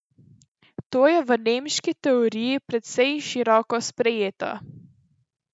To je v nemški teoriji precej široko sprejeto.